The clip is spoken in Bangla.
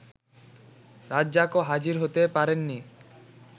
রাজ্জাকও হাজির হতে পারেননি